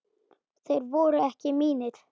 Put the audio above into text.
Þeir voru ekki mínir.